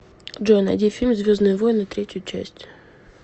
джой найди фильм звездные войны третью часть